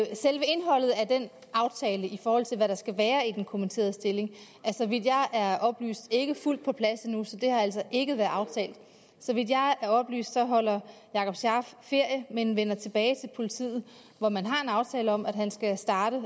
den aftale altså i forhold til hvad der skal være i den kommitterede stilling er så vidt jeg er oplyst ikke fuldt på plads endnu så det har altså ikke været aftalt så vidt jeg er oplyst holder jakob scharf ferie men vender tilbage til politiet hvor man har en aftale om at han skal starte og